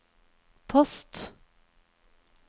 post